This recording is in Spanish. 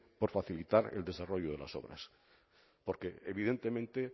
por facilitar el desarrollo de las obras porque evidentemente